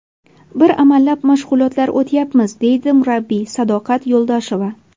Bir amallab mashg‘ulotlar o‘tyapmiz, deydi murabbiy Sadoqat Yo‘ldosheva.